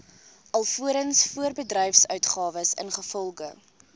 alvorens voorbedryfsuitgawes ingevolge